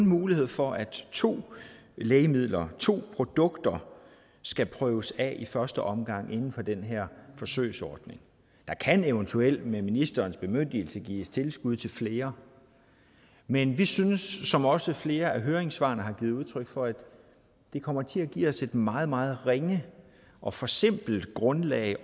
mulighed for at to lægemidler to produkter skal prøves af i første omgang inden for den her forsøgsordning der kan eventuelt med ministerens bemyndigelse gives tilskud til flere men vi synes som også flere af høringssvarene har givet udtryk for at det kommer til at give os et meget meget ringe og forsimplet grundlag